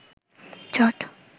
চট